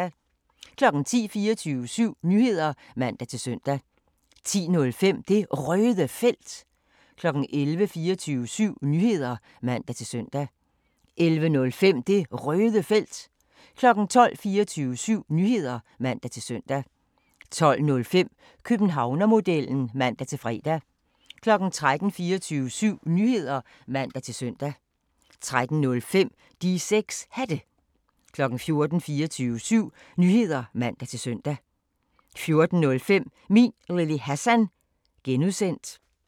10:00: 24syv Nyheder (man-søn) 10:05: Det Røde Felt 11:00: 24syv Nyheder (man-søn) 11:05: Det Røde Felt 12:00: 24syv Nyheder (man-søn) 12:05: Københavnermodellen (man-fre) 13:00: 24syv Nyheder (man-søn) 13:05: De 6 Hatte 14:00: 24syv Nyheder (man-søn) 14:05: Min Lille Hassan (G)